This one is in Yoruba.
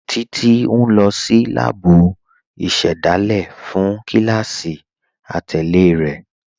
Títi n lọ sí láàbú ìṣẹ́dálẹ̀ fún kílásí àtẹlẹ̀ rẹ.